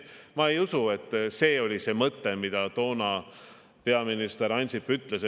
No ma ei usu, et see oli see mõte, mida toona peaminister Ansip mõtles.